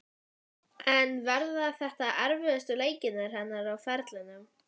En verða þetta erfiðustu leikir hennar á ferlinum?